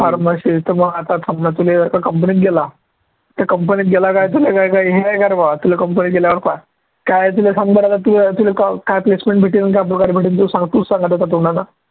pharmacy मग आता थांब ना तुले आता company गेला तर company गेला काय तुले काय काही तुला company त गेल्यावर काय तुले form भरायला तू तुला काय placement भेटील आणि काय पगार भेटील तू सांग तूच सांग आता तुझ्या तोंडानं